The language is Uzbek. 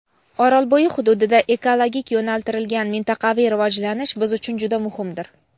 Orolbo‘yi hududida ekologik yo‘naltirilgan mintaqaviy rivojlanish biz uchun juda muhimdir.